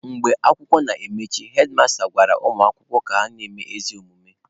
Mgbe akwụkwọ na-emechi, hedmasta gwara ụmụ akwụkwọ ka na-eme ezi omume.